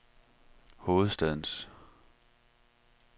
hovedstadens